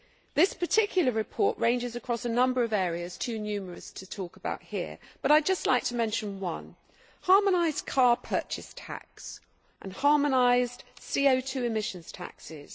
This particular report ranges across a number of areas too numerous to talk about here, but I would just like to mention one harmonised car purchase tax and harmonised CO 2 emission taxes.